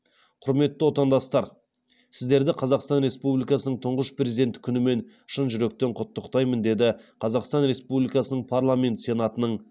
құрметті отандастар сіздерді қазақстан республикасының тұңғыш президенті күнімен шын жүректен құттықтаймын деді қазақстан республикасының парламенті сенатының